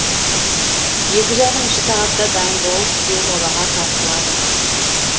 екі жарым үш сағатта дайын болып күйеу балаға тартылады